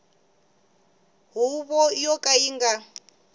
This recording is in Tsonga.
huvo yo ka yi nga